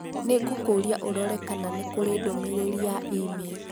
Nĩ ngũkũũria ũrore kana nĩ kũrĩ ndũmĩrĩri ya e-mail.